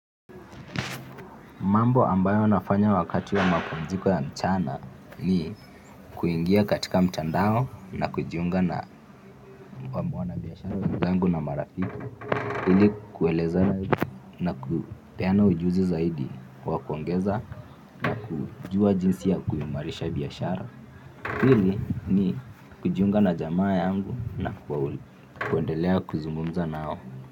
Mambo ambayo nafanya wakati wa mapumziko ya mchana ni kuingia katika mtandao na kujiunga na mabwana biashara zangu na marafiki ili kuelezana nakupeana ujuzi zaidi kwa kuongeza na kujua jinsi ya kuimarisha biashara hili ni kujiunga na jamaa yangu na kuendelea kuzungumza nao.